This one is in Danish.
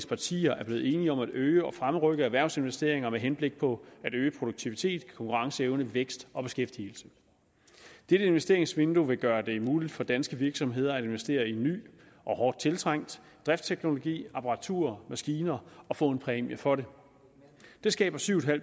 partier er blevet enige om at øge og fremrykke erhvervsinvesteringer med henblik på at øge produktivitet konkurrenceevne vækst og beskæftigelse dette investeringsvindue vil gøre det muligt for danske virksomheder at investere i ny og hårdt tiltrængt driftsteknologi apparatur og maskiner og få en præmie for det det skaber syv